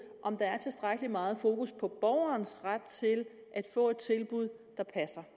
om der er tilstrækkelig meget fokus på borgerens ret til at få et tilbud der passer